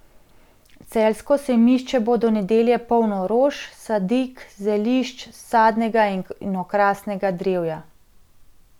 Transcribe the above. Celjsko sejmišče bo do nedelje polno rož, sadik, zelišč, sadnega in okrasnega drevja.